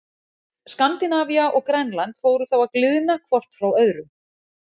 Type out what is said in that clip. Skandinavía og Grænland fóru þá að gliðna hvort frá öðru.